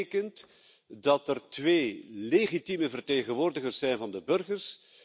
Dat betekent dat er twee legitieme vertegenwoordigers zijn van de burgers.